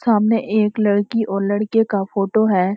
सामने एक लड़की और लड़के का फोटो है।